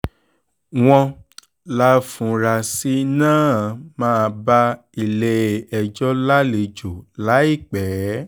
wọ́n láfuarasí náà máa bá ilé-ẹjọ́ lálejò láìpẹ́ láìpẹ́